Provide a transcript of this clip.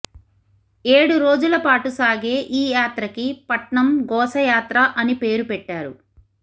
ఏడు రోజులపాటు సాగే ఈ యాత్రకి పట్నం గోస యాత్ర అని పేరు పెట్టారు